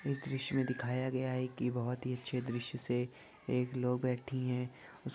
इस दृश्य में दिखाया गया है कि बहोत ही अच्छे दृश्य से एक लोग बैठी है। उस --